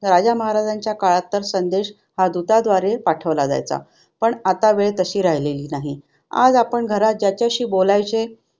राजा महाराजांच्या काळात संदेश हा दूतांद्वारे पाठवला जायचा. पण आता वेळ कशी राहिली नाही. आज आपण घरात ज्याच्याशी बोलायचे